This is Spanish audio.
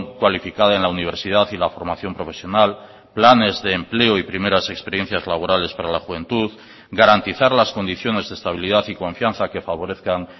cualificada en la universidad y la formación profesional planes de empleo y primeras experiencias laborales para la juventud garantizar las condiciones de estabilidad y confianza que favorezcan